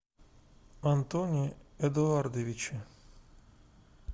антоне эдуардовиче